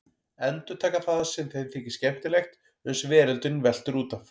Endurtaka það sem þeim þykir skemmtilegt uns veröldin veltur út af.